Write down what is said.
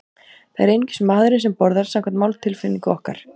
Það er einungis maðurinn sem borðar, samkvæmt máltilfinningu okkar.